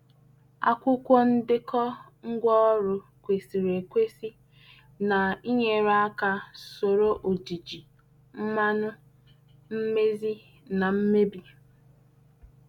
Akwụkwọ ndekọ ngwaọrụ kwesịrị ekwesị na-enyere aka soro ojiji, mmanụ, mmezi, na mmebi.